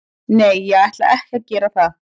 Nei, ég ætla ekki að gera það.